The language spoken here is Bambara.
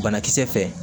Banakisɛ fɛ